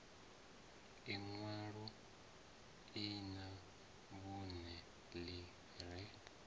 inwalo lṅa vhunṋe ḽi re